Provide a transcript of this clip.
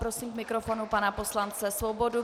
Prosím k mikrofonu pana poslance Svobodu.